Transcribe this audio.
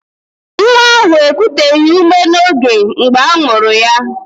Nwa ahụ ekuteghi ume n'oge mgbe amuru ya